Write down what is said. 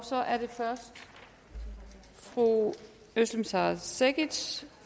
så er det først fru özlem sara cekic